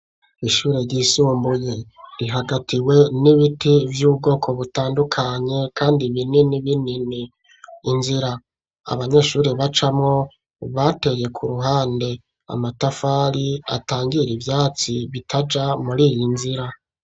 Ishure ryisumbuye rihagatiwe n'ibiti vy'ubwoko butandukanye kandi binini binini. Inzira abanyeshuri bacamwo bateye ku ruhande, amatafari atangira ivatsi bitaja muri iyi nzira.